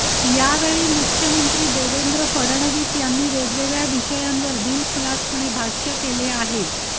यावेळी मुख्यमंत्री देवेंद्र फडणवीस यांनी वेगवेगळ्या विषयांवर दिलखुलासपणे भाष्य केलं आहे